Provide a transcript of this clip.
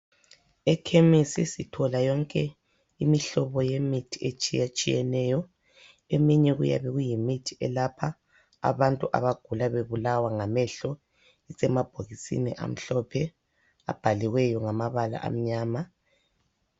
Ekhemisi sithola yonke imihlobo yemithi etshiyatshiyeneyo eminye kuyabe kuyimithi elapha abantu abagula bebulawa ngamehlo asemabhokisini amhlophe abhaliweyo ngamabala amnyama.